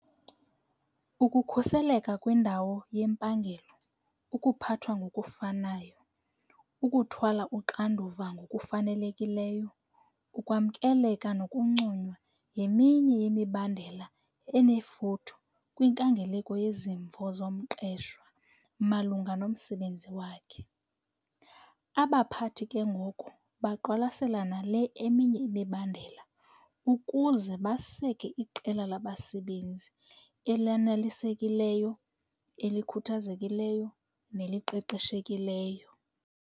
Ukukhuseleka kwindawo yempangelo, ukuphathwa ngokufanayo, ukuthwala uxanduva ngokufanelekileyo, ukwamkeleka nokunconywa yeminye yemibandela enefuthe kwinkangeleko yezimvo zomqeshwa malunga nomsebenzi wakhe. Abaphathi ke ngoko baqwalasela nale eminye imibandela ukuze baseke iqela labasebenzi elanelisekileyo, elikhuthazekileyo neliqeqeshekileyo.